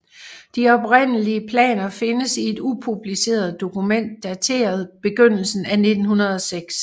De oprindelige planer findes i et upubliceret dokument dateret begyndelsen af 1906